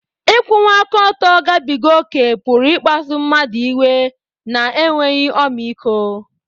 Ịkwụwa aka ọtọ gabiga ókè pụrụ ịkpasu mmadụ iwe na enweghị ọmịiko.